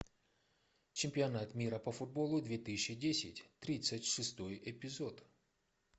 чемпионат мира по футболу две тысячи десять тридцать шестой эпизод